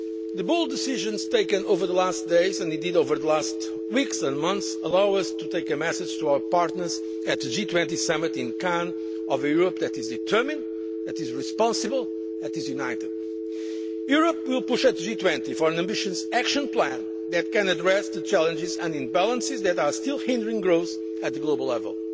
The bold decisions taken over the last days, and indeed over the last weeks and months, allow us to take a message to our partners at the G20 summit in Cannes of a Europe that is determined, that is responsible, that is united. Europe will push, at the G20, for an ambitious action plan that can address the challenges and imbalances that are still hindering growth at the global